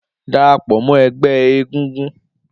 Darapọ mọ ẹgbẹ egúngún!